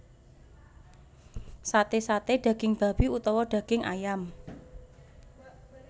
Sate saté daging babi utawa daging ayam